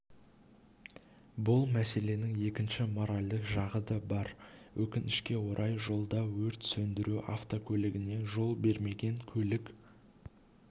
бұл мәселенің екінші моральдық жағы да бар өкінішке орай жолда өрт сөндіру автокөлігіне жол бермеген көлік